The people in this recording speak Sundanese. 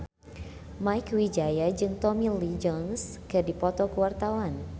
Mieke Wijaya jeung Tommy Lee Jones keur dipoto ku wartawan